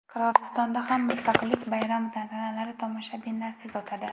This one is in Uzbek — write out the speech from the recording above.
Qirg‘izistonda ham Mustaqillik bayrami tantanalari tomoshabinlarsiz o‘tadi.